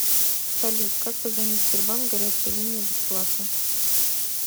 салют как позвонить в сбербанк горячая линия бесплатно